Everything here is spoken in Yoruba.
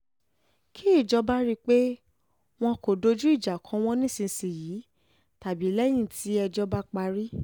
kí ìjọba rí i dájú pé wọn kò dojú ìjà kọ wọ́n nísìnyìí tàbí lẹ́yìn tí ẹjọ́ bá parí